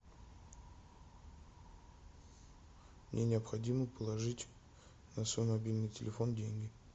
мне необходимо положить на свой мобильный телефон деньги